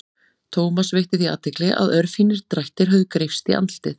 Thomas veitti því athygli að örfínir drættir höfðu greypst í andlitið.